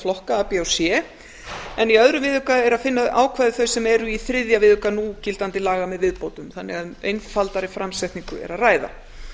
a b og c en í öðrum viðauka er að finna ákvæði þau sem eru í þriðja viðauka núgildandi laga með viðbótum þannig að um einfaldari framsetningu er að ræða